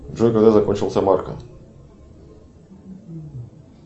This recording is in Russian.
джой когда закончился марко